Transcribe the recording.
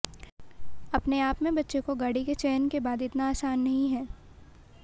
अपने आप में बच्चे को गाड़ी के चयन के बाद इतना आसान नहीं है